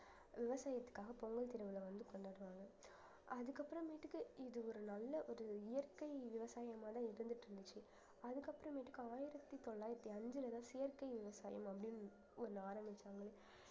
விவசாயத்துக்காக பொங்கல் திருவிழா வந்து கொண்டாடுவாங்க அதுக்கப்புறமேட்டுக்கு இது ஒரு நல்ல ஒரு இயற்கை விவசாயமாதான் இருந்துட்டு இருந்துச்சு அதுக்கப்புறமேட்டுக்கு ஆயிரத்தி தொள்ளாயிரத்தி அஞ்சுலதான் செயற்கை விவசாயம் அப்படின்னு ஒண்~ ஒண்ணு ஆரம்பிச்சாங்களே